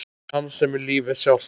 Hans sem er lífið sjálft.